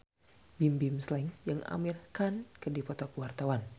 Bimbim Slank jeung Amir Khan keur dipoto ku wartawan